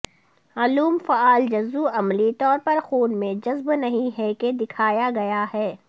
علوم فعال جزو عملی طور پر خون میں جذب نہیں ہے کہ دکھایا گیا ہے